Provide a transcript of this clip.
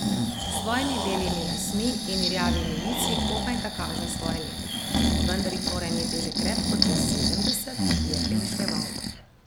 S svojimi belimi lasmi in rjavimi lici komaj da kaže svoja leta, vendar jih mora imeti že krepko čez sedemdeset, je premišljeval.